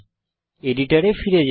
এডিটরে ফিরে যাই